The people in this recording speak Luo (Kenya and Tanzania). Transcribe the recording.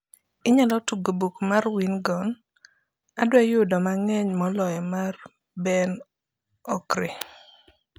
inyala tugo buk mar wingona adwa yudo mangeny moloyo mar ben okri